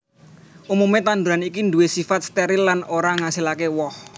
Umumé tanduran iki nduwé sifat steril lan ora ngasilaké woh